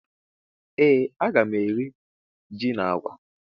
Ee aga mụ eri jị na àgwà